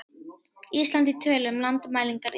Ísland í tölum- Landmælingar Íslands.